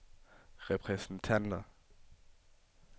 repræsentanter